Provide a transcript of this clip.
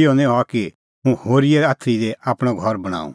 इहअ निं हआ कि हुंह होरीए आथरी दी आपणअ घर बणांऊं